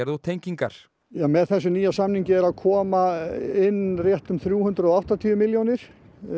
og tengingar með þessum nýja samningi eru að koma inn rétt um þrjú hundruð og áttatíu milljónir